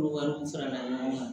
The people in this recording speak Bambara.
Olu wariw farala ɲɔgɔn kan